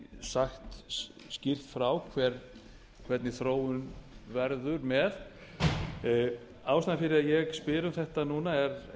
sagt skýrt frá hvernig þróun verður með ástæðan fyrir að ég spyr um þetta núna er